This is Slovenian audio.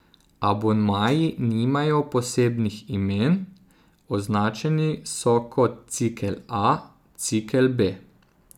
Abonmaji nimajo posebnih imen, označeni so kot Cikel A, Cikel B...